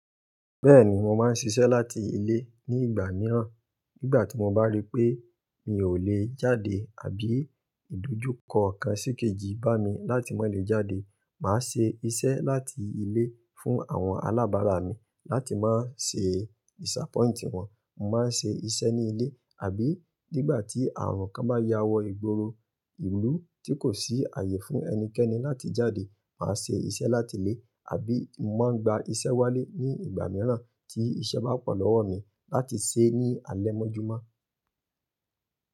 Bẹ́ẹ̀ni, mo máa ń ṣiṣẹ́ láti ilé ní ìgbà mìíràn. Nígbà tí mo bá rí pé mi ò lè jáde àbí ìdojúkọ kan sìkejì bá mi láti má lè jáde, màá ṣe iṣẹ́ láti ilé fún àwọn alábàárà mi láti má ṣe disappoint wọn. Mo máa ń ṣe iṣẹ́ ní ilé. Abí ìgbà tí ààrùn kan bá ya wọ ìgboro ìlú tí kò sí ààyè fún ẹnikẹ́ni láti jáde, màá se isẹ́ láti ilé àbí màá gba isẹ́ wálé ní ìgbà mìíràn tí iṣẹ́ bá pọ̀ lọ́wọ́ mi láti se ní alẹ́ mọ́júmọ́.